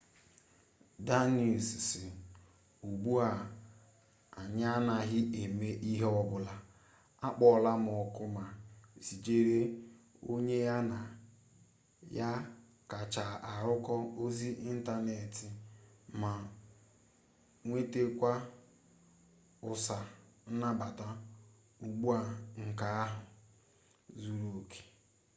danius si ugbu a anyị anaghị eme ihe ọbụla akpọọlam oku ma zijere onye ya na ya kacha arụkọ ozi ịntaneetị ma nwetekwa ụsa nnabata ugbua nke ahụ zuru oke